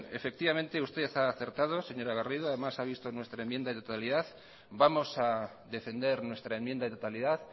usted ha acertado señora garrido además ha visto nuestra enmienda de totalidad vamos a defender nuestra enmienda de totalidad